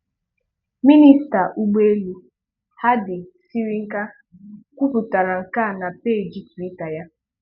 Minista ụgbọelu, Hadi Sirinka, kwuputara nke a na peeji Twitter ya.